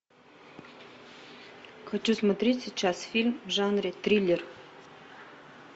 хочу смотреть сейчас фильм в жанре триллер